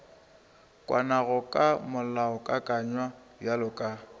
kwanago ka molaokakanywa bjalo ka